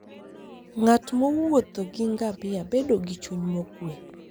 Ng'at mowuotho gi ngamia bedo gi chuny mokuwe.